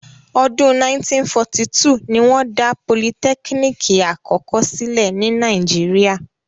Ọdún 1942 ni wọ́n dá politẹ́kínìkì àkọ́kọ́ sílẹ̀ ní Nàíjíríà.